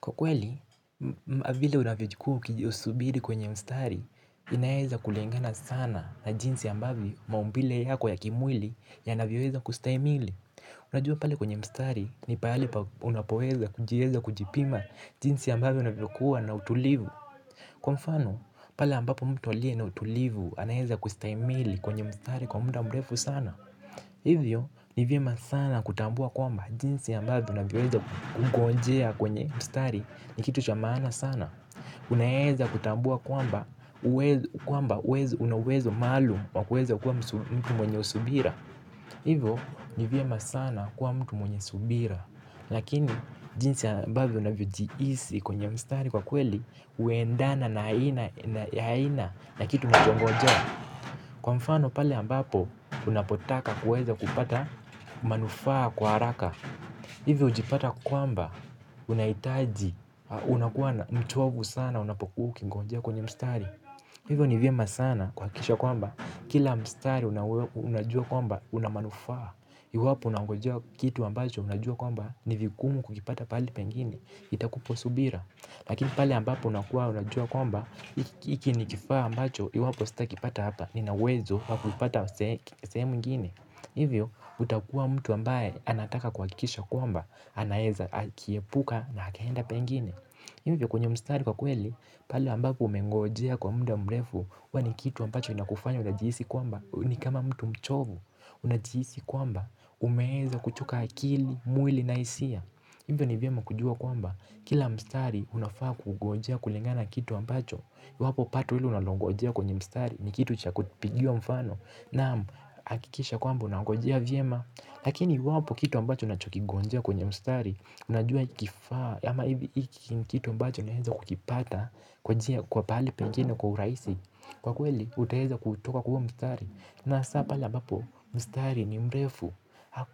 Kwa kweli, vile unavyokuwa ukisubiri kwenye mstari, inaweza kulingana sana na jinsi ambavyo maumbile yako ya kimwili ya navyoweza kustahimili. Unajua pale kwenye mstari ni pahali unapoweza kujiweza kujipima jinsi ambavyo unavyokuwa na utulivu. Kwa mfano, pale ambapo mtu aliye na utulivu anaweza kustahimili kwenye mstari kwa muda mrefu sana. Hivyo, nivyema sana kutambua kwamba jinsi ambayo unavyoweza kungonjea kwenye mstari ni kitu chamaana sana. Unaweza kutambua kwamba, kwamba unauwezo maalum wakuweza kuwa mtu mwenye usubira. Hivyo, nivyema sana kuwa mtu mwenye usubira. Lakini, jinsi ambavyo unavyojihisi kwenye mstari kwa kweli, huendana na aina na kitu mtuanangojea. Kwa mfano pale ambapo unapotaka kuweza kupata manufaa kwa haraka hivyo hujipata kwamba unahitaji unakuwa mchovu sana unapokua ukingonjea kwenye mstari. Hivyo ni vyema sana kuha kikisha kwamba kila mstari unajua kwamba unamanufaa. Iwapo unangonjea kitu ambacho unajua kwamba nivingumu kukipata pahali pengine itakupa subira. Lakini pale ambapo unakuwa unajua kwamba hikini kifaa ambacho iwapo sita kipata hapa ninauwezo waku ipata sehemu ingine. Hivyo utakua mtu ambaye anataka kuha kikisha kwamba anaweza akiepuka na akaenda pengine. Hivyo kwenye mstari kwa kweli pahali ambapo umengojea kwa muda mrefu huwani kitu ambacho inakufanya unajihisi kwamba ni kama mtu mchovu. Unajihisi kwamba umeweza kuchoka akili mwili na hisia. Hivyo nivyema kujua kwamba kila mstari unafaa kugojea kulingana nakitu ambacho iwapo pato ile unalongojea kwenye mstari ni kitu cha kupigiwa mfano. Naam hakikisha kwamba una ngojea vyema. Lakini iwapo kitu ambacho unachokigonjea kwenye mstari unajua kifaa ama hivi kitu ambacho naweza kukipata kwa njia kwa pahali pengine kwa urahisi kwa kweli utaweza kutoka kwahuo mstari. Naha sapa le ambapo mstari ni mrefu.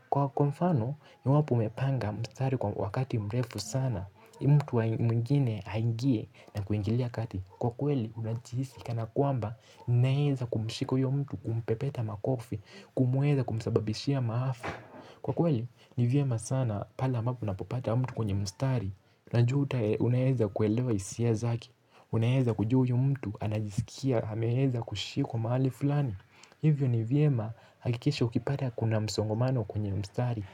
Kwa kwamfano iwapo umepanga mstari kwa wakati mrefu sana mtu mwingine aingie. Na kuingilia kati kwa kweli unajihisika na kwamba unaweza kumshika huyomtu kumpepeta makofi kumuweza kumsababishia maafa kwa kweli, nivyema sana pale ambapo unapopata mtu kwenye mstari na jua utae unaweza kuelewa hisia zake unaweza kujua huyumtu anajisikia ameweza kushikwa mahali fulani hivyo nivyema hakikisha ukipata kuna msongomano kwenye mstari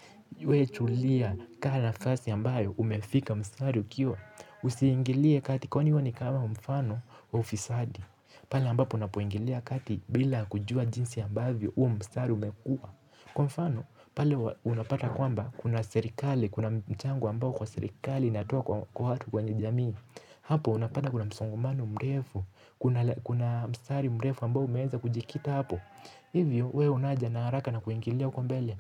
wewetulia kaa na fasi ambayo umefika mstari ukiwa usiingilie katikwani huwani kama mfano wa ufisadi. Pale ambapo unapoingilia kati bila kujua jinsi ambavyo huo mstari umekua. Kwa mfano pale unapata kwamba kuna serikali. Kuna mchango ambao kwa serikali ina toa kwa watu kwenye jamii. Hapo unapata kuna msongamano mrefu. Kuna mstari mrefu ambao umeweza kujikita hapo. Hivyo wewe unajana haraka na kuingilia huko mbele.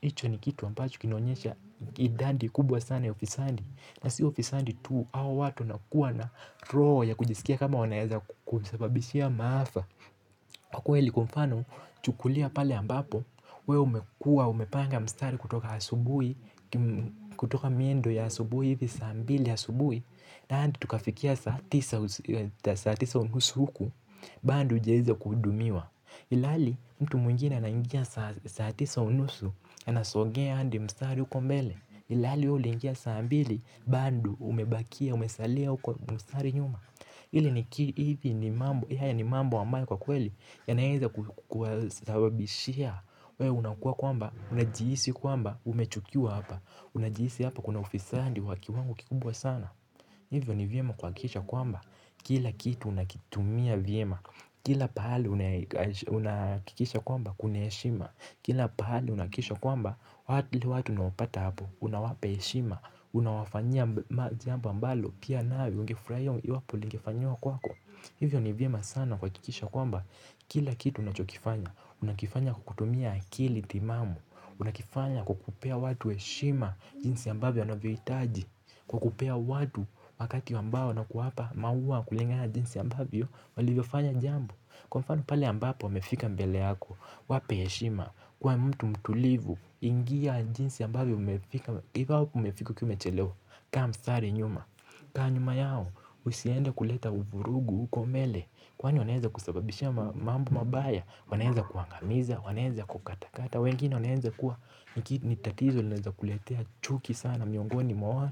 Hicho ni kitu ambacho kinaonyesha idadi kubwa sana ya ufisadi. Na si ufisadi tu hawa watu wanakuwa na roho ya kujisikia kama wanaweza kukusababishia maafa. Kwa kweli kwamfano chukulia pale ambapo wewe umekua umepanga mstari kutoka asubuhi. Kutoka miendo ya asubuhi hivi sambili ya asubuhi. Na hadi tukafikia saatisa unusu huku bado hujaweza kuhudumiwa ilhali mtu mwingine anaingia saatisa unusu. Anasogea hadi mstari huko mbele ilhaliwewe uliingia saambili bado umebakia, umesalia kwa mstari nyuma hili ni mambo haya ni mambo ambayo kwa kweli yanaweza kuwa sababishia wewe unakua kwamba unajihisi kwamba, umechukiwa hapa unajihisi hapa kuna ufisadi waki wango kikubwa sana hivyo ni vyema kuha kikisha kwamba kila kitu unakitumia vyema kila pahali unahakikisha kwamba kunahe shima kila pahali unahakikisha kwamba watu unaopata hapo. Unawapa heshima. Unawafanyia jambo ambalo pia nawe ungefurahia iwapo lingefanyiwa kwako. Hivyo ni vyema sana kuha kikisha kwamba kila kitu unachokifanya unakifanya kwakutumia akili timamu. Unakifanya kwakupea watu heshima. Jinsi ambavyo anavyo hitaji kwakupea watu wakati ambao nakuwapa maua kulingana najinsi ambavyo walivyo fanya jambo. Kwa mfano pale ambapo wamefika mbeleyako wape heshima. Kuwa mtu mtulivu ingia njinsi a mbavyo mmefika ikiwa umefika ukiwaumechelewa kaa mstari nyuma kaa nyuma yao usienda kuleta vurugu huko mbele kwani wanaweza kusababishia mambo mabaya wanaweza kuangamiza wanaweza kukata kata wengine wanaweza kuwa nitatizo laweza kuletea chuki sana miongoni mwana.